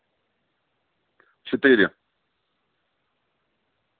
четыре